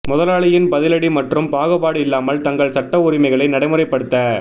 முதலாளியின் பதிலடி மற்றும் பாகுபாடு இல்லாமல் தங்கள் சட்ட உரிமைகளை நடைமுறைப்படுத்த